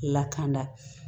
Lakana